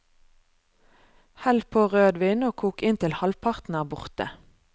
Hell på rødvin og kok inn til halvparten er borte.